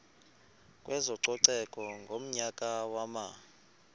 kwezococeko ngonyaka wama